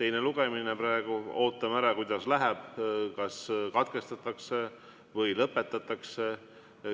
teine lugemine läheb – kas katkestatakse või lõpetatakse.